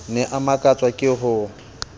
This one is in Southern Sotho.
ne a makatswa ke ho